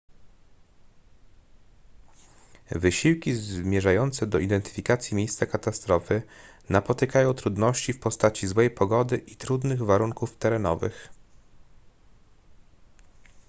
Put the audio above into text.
wysiłki zmierzające do identyfikacji miejsca katastrofy napotykają trudności w postaci złej pogody i trudnych warunków terenowych